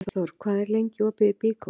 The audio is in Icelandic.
Guðþór, hvað er lengi opið í Byko?